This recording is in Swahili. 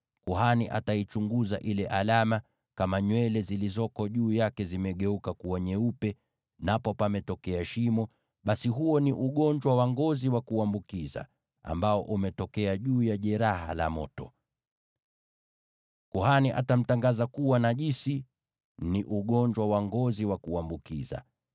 kuhani ataichunguza ile alama, na kama nywele zilizoko juu yake zimegeuka kuwa nyeupe, napo pametokea shimo, basi huo ni ugonjwa wa ngozi wa kuambukiza ambao umetokea juu ya jeraha la moto. Kuhani atamtangaza kuwa najisi; ni ugonjwa wa ngozi wa kuambukiza.